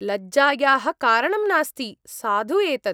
-लज्जायाः कारणं नास्ति, साधु एतत्।